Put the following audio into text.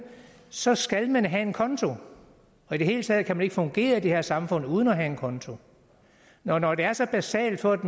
så skal man have en konto og i det hele taget kan man ikke fungere i det her samfund uden at have en konto når når det er så basalt for et